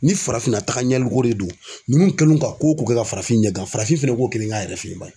Ni farafinna tagaɲɛliko de do ninnu kɛlen ka ko o ko kɛ ka farafin ɲɛgan farafin fɛnɛ k'o kelen k'a yɛrɛ fɛ bani.